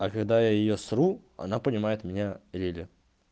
а когда я её сру она понимает меня лиля